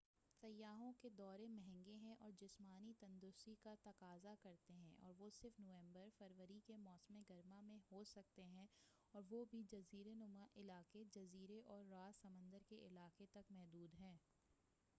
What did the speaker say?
سیاحوں کے دورے مہنگے ہیں اور جسمانی تندرستی کا تقاضہ کرتے ہیں اور وہ صرف نومبر فروری کے موسم گرما میں ہوسکتے ہیں اور وہ بھی جزیرہ نما علاقے جزیرے اور راس سمندر کے علاقے تک محدود ہیں